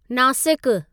नासिकु